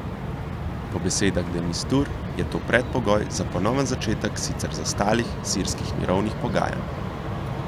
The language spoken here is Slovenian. Po besedah de Misture je to predpogoj za ponoven začetek sicer zastalih sirskih mirovnih pogajanj.